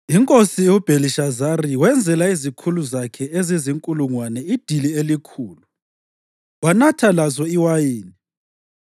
Inkosi uBhelishazari wenzela izikhulu zakhe ezizinkulungwane idili elikhulu, wanatha lazo iwayini.